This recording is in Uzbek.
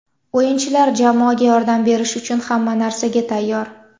O‘yinchilar jamoaga yordam berish uchun hamma narsaga tayyor.